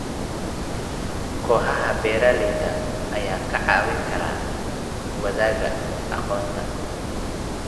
Kooxaha beeralayda ayaa kaa caawin kara wadaaga aqoonta.